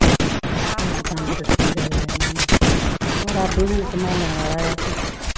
ਆਹੋ ਪਾਠ ਰੱਬ ਤੰਦਰੁਸਤੀ ਦਵੇ ਉਨ੍ਹਾਂ ਨੂੰ, ਹੋਰ ਰੱਬ ਈ ਸੰਭਾਲਣ ਵਾਲਾ ਆਪੇ।